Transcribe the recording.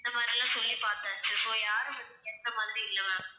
இந்த மாதிரியெல்லாம் சொல்லிப் பார்த்தாச்சு so யாரும் வந்து கேட்ட மாதிரி இல்லை ma'am